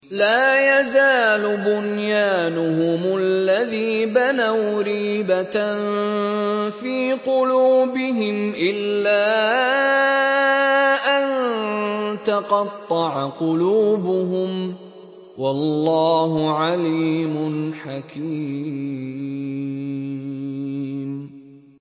لَا يَزَالُ بُنْيَانُهُمُ الَّذِي بَنَوْا رِيبَةً فِي قُلُوبِهِمْ إِلَّا أَن تَقَطَّعَ قُلُوبُهُمْ ۗ وَاللَّهُ عَلِيمٌ حَكِيمٌ